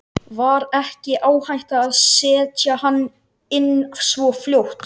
Var ekki áhætta að setja hana inn svo fljótt?